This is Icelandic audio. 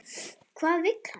Hvað vill hann?